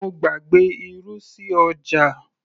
mo gbàgbé irú sí ọjà